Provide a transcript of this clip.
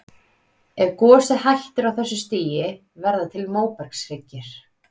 Ef gosið hættir á þessu stigi verða til móbergshryggir.